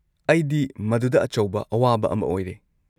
ꯑꯩꯗꯤ ꯃꯗꯨꯗ ꯑꯆꯧꯕ ꯑꯋꯥꯕ ꯑꯃ ꯑꯣꯏꯔꯦ꯫